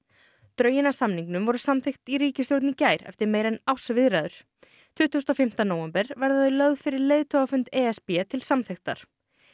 drögin að samningnum voru samþykkt í ríkisstjórn í gær eftir meira en árs viðræður tuttugasta og fimmta nóvember verða þau lögð fyrir leiðtogafund e s b til samþykktar